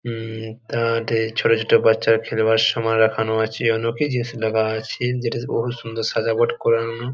উম তাতে ছোট ছোট বাচ্চারা খেলবার সময় রাখানো আছে অনেকই জিনিস রাখা আছে যেটাতে অনেক সুন্দর সাজাবাট করানো ।